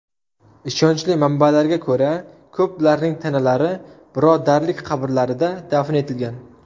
Ishonchli manbalarga ko‘ra, ko‘plarning tanalari birodarlik qabrlarida dafn etilgan.